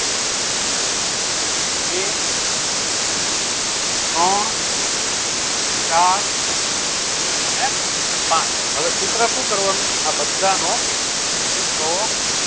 બે ત્રણ ચાર અને પાંચ હવે સૂત્ર શું કરવાનું આ બધાનો મિત્રો